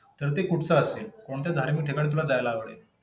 तर ते कुठंच असेल? कोणतं धार्मिक ठिकाणी तुला जायला आवडेल?